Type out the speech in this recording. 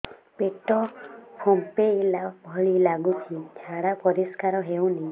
ପେଟ ଫମ୍ପେଇଲା ଭଳି ଲାଗୁଛି ଝାଡା ପରିସ୍କାର ହେଉନି